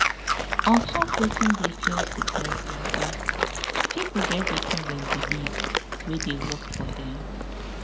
ontop wetin dey cure sickness mata pipo get wetin dem believe wey dey work for dem